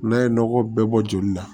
N'a ye nɔgɔ bɛɛ bɔ joli la